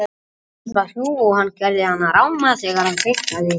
Rödd hans var hrjúf og hann gerði hana ráma þegar hann kveinkaði sér.